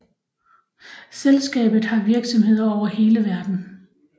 Selskabet har virksomheder over hele verden